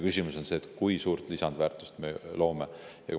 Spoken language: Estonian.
Küsimus on selles, kui suurt lisandväärtust me loome.